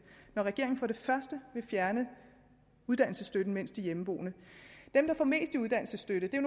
at regeringen vil fjerne uddannelsesstøtten mens de er hjemmeboende dem der får mest i uddannelsesstøtte er